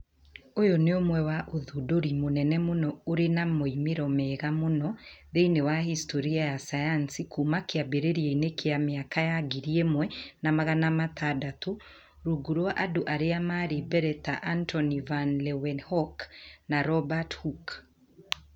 Ūyũ nĩ ũmwe wa ũthundũri mũnene mũno ũrĩ na moimĩrĩro mega mũno thĩinĩ wa historĩ ya sayansi kuuma kĩambĩrĩria-inĩ kĩa mĩaka ya 1600 rungu rwa andũ arĩa marĩ mbere ta Antoni van Leeuwenhoek na Robert Hooke.